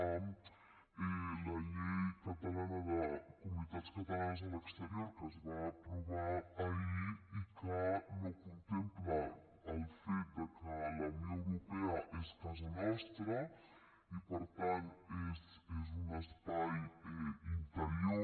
amb la llei catalana de comunitats catalanes a l’exterior que es va aprovar ahir i que no contempla el fet de que la unió europea és casa nostra i per tant és un espai interior